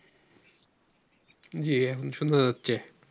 জি এখন শোনা যাচ্ছে ।